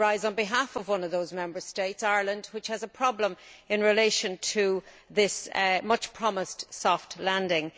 I rise on behalf of one of those Member States Ireland which has a problem in relation to this much promised soft landing.